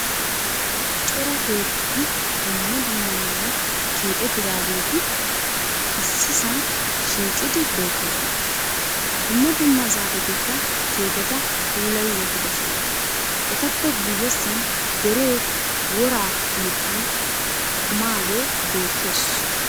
Cora keettati dumma dumma meran keexxettidadeegit issisan shiiqqidi beettoosona. dumma dumma zaafetikka keetteta puullayi wottidosona. etapp guyessan deree woraa mittan kumaagee beettees.